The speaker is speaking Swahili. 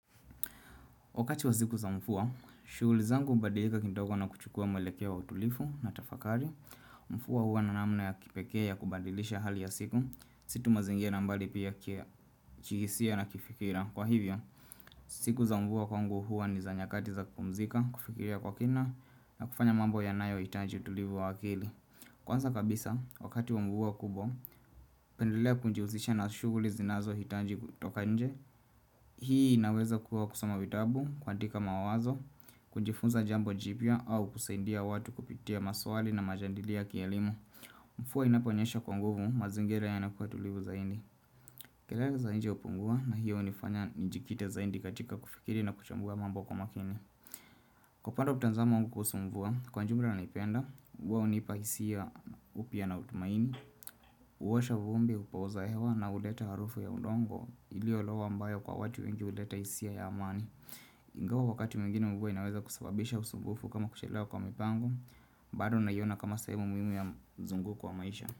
Wakati wa siku za mvua, shughuli zangu hubadilika kindogo na kuchukua mwelekeo wa utulivi na tafakari. Mvua huwa na namna ya kipekee ya kubadilisha hali ya siku. Si tu mazingira na bali pia kihisia na kifikira. Kwa hivyo, siku za mvua kwangu huwa ni za nyakati za kupumzika, kufikiria kwa kina na kufanya mambo yanayohitaji utulivu wa akili. Kwanza kabisa, wakati wa mvua kubwa, napendelea kujihusisha na shughuli zinazohitaji kutoka nje. Hii inaweza kuwa kusoma vitabu, kuandika mawazo, kujifunza jambo jipya au kusaidia watu kupitia maswali na majadilio ya kielimu Mvua inaponyesha kwa nguvu mazingira yanakuwa tulivu zaidi kelele za nje hupungua na hiyo hunifanya nijikite zaidi katika kufikiri na kuchambua mambo kwa makini Kwa upande wa mtazamo wangu kuhusu mvua, kwa ujumla naipenda, huwa junipa hisia upya na utumaini huosha vumbi hupooza hewa na huleta harufu ya udongo iliyolowa ambayo kwa watu wengi huleta hisia ya amani Ingawa wakati mwingine mvua inaweza kusababisha usumbufu kama kuchelewa kwa mipango bado naiona kama sehemu muhimu ya mzunguko wa maisha.